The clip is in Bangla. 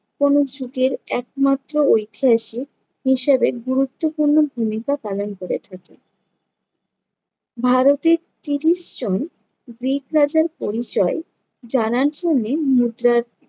কোনো যুগের একমাত্র ঐতিহাসিক হিসাবে গুরুত্বপূর্ণ ভূমিকা পালন করে থাকে। ভারতের তিরিশ জন গ্রিক রাজার পরিচয় জানার জন্যে মুদ্রার